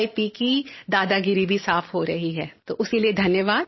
P की दादागिरी भी साफ हो रही है तो उसके लिये धन्यवाद